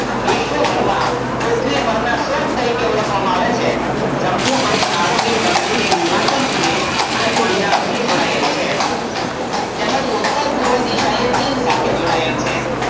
વિશ્વભરમાં પૃથ્વી પર ના સ્વર્ગ તરીકે ઓળખવામાં આવે છે જમ્મુ અને કાશમીર દક્ષિણે હિમાચલ પ્રદેશ અને પંજાબ થી જોડાયેલ છે તેમજ ઉત્તર પૂર્વ દિશાએ ચીન સાથે જોડાયેલ છે